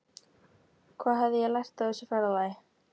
Hvað hafði ég lært á þessu ferðalagi?